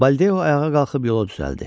Baldeo ayağa qalxıb yola düzəldi.